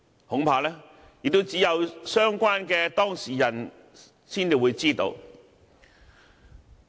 恐怕只有相關當事人才知道。